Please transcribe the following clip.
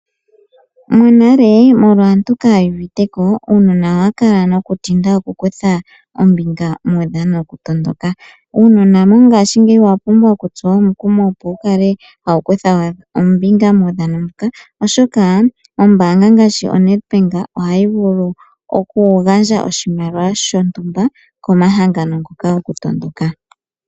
Monale aantu shoyali yaa uviteko uunona owa kala noku tinda oku kutha ombinga muudhano woku tondoka. Uunona ngaashigeyi owa pumbwa oku tsuwa omukumo opo wu kale hawu kutha ombinga muudhano mbuka oshoka ombanga ngaashi oNedbank ohayi vulu oku gandja oshimaliwa shontumba komahangano ngoka goku tondoka.